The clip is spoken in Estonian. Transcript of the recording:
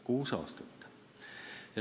Kuus aastat.